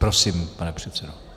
Prosím, pane předsedo.